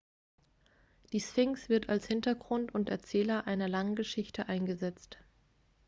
die sphinx wird als hintergrund und erzähler einer langen geschichte eingesetzt